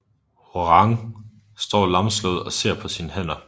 Hwoarang står lamslået og ser på sine hænder